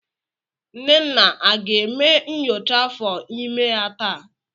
Nnenna aga eme nyocha afọ imé ya taa?